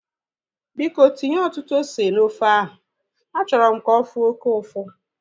Biko tinye ọtụtụ ose na ofe ahu. Achọrọ m ka ofu oke ụfụ